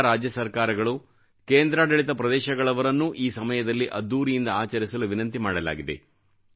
ಎಲ್ಲಾ ರಾಜ್ಯಸರ್ಕಾರಗಳು ಕೇಂದ್ರಾಡಳಿತ ಪ್ರದೇಶಗಳವರನ್ನೂ ಈ ಸಮಯದಲ್ಲಿ ಅದ್ದೂರಿಯಿಂದ ಆಚರಿಸಲು ವಿನಂತಿಮಾಡಲಾಗಿದೆ